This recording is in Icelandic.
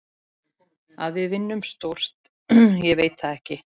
Að við vinnum stórt, ég veit það ekki.